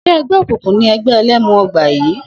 S̩é e̩gbé̩ òkùnkùn ni e̩gbé̩ e̩lé̩mu o̩gbà yìí?